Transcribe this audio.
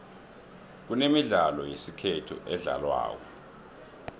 kunemidlalo yesikhethu edlalwako